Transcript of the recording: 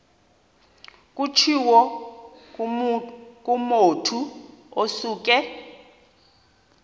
kutshiwo kumotu osuke